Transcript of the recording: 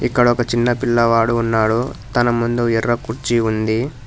ఇక్కడ ఒక చిన్న పిల్లవాడు ఉన్నాడు తన ముందు ఎర్ర కూర్చి ఉంది.